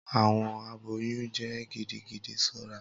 Awọn aboyun jẹ gidigidi ṣọra.